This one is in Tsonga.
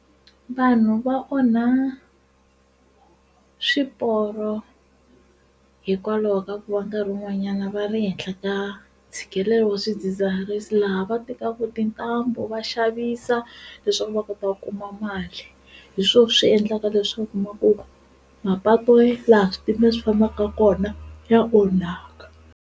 Vanhu va onha swiporo hikwalaho ka ku va nkarhi wun'wanyana va le henhla ka ntshikelelo wa swidzidziharisi laha va tetaku tintambu va xavisa leswaku va kota ku kuma mali hi swoho swi endlaka leswaku u kuma ku va mapatu laha switimela swi fambaka kona ya onhaka.